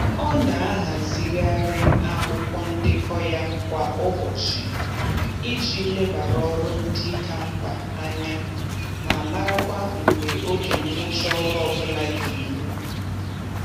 Ọ na-ahazigharị akwụkwọ ndekọ ya kwa ụbọchị iji lebara ọrụ ndị ka mkpa anya ma marakwa mgbe oge ngwụcha ọrụ ọbụla ga eru